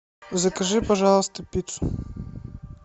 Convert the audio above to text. закажи пожалуйста пиццу